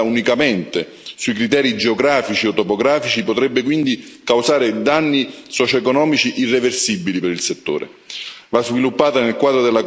Una riduzione eccessiva di tali zone basata unicamente sui criteri geografici o topografici potrebbe quindi causare danni socioeconomici irreversibili per